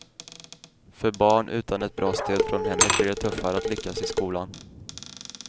För barn utan ett bra stöd från hemmet blir det tuffare att lyckas i skolan.